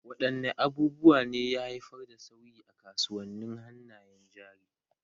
Wadanne abubuwa ne ya haifar da sauyi a kasuwannin hannayen jari?